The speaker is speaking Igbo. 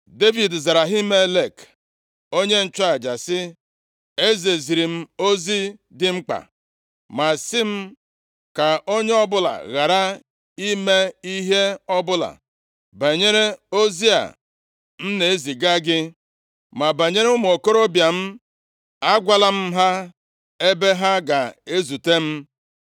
Devid zara Ahimelek, onye nchụaja sị, “Eze ziri m ozi dị mkpa, ma sị m, ‘Ka onye ọbụla ghara ịma ihe ọbụla banyere ozi a m na-eziga gị.’ Ma banyere ụmụ okorobịa m, agwala m ha ebe ha ga-ezute m.